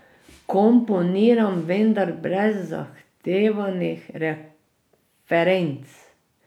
Komponiram, vendar brez zahtevanih referenc.